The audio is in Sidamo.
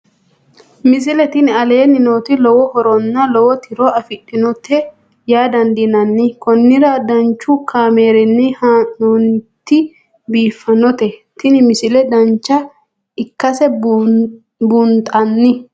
misile tini aleenni nooti lowo horonna lowo tiro afidhinote yaa dandiinanni konnira danchu kaameerinni haa'noonnite biiffannote tini misile dancha ikkase buunxanni